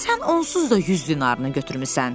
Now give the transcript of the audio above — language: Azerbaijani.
Sən onsuz da 100 dinarını götürmüsən.